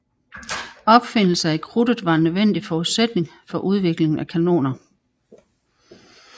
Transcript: Opfindelsen af krudtet var en nødvendig forutsætning for udviklingen af kanoner